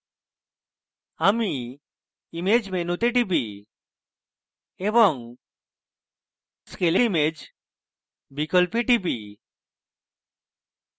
আমি image মেনুতে টিপি এবং scale image বিকল্পে টিপি